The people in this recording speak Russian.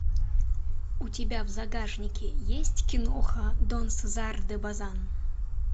у тебя в загашнике есть киноха дон сезар де базан